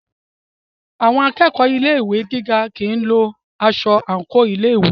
Àwọn akẹ́kọ̀ọ́ Ilé ìwé gíga kìí lo aṣọ àńkò ilé ìwé.